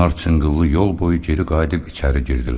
Onlar çınqıllı yol boyu geri qayıdıb içəri girdilər.